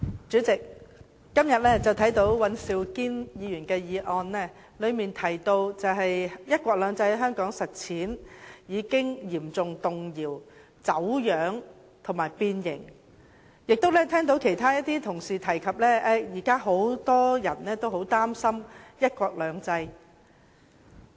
主席，尹兆堅議員今天的議案提到，"一國兩制"在香港的實踐已經嚴重動搖、走樣和變形，我亦聽到一些同事提及，現時很多人都很擔心"一國兩制"。